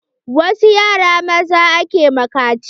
Wasu yara maza ake ma kaciya.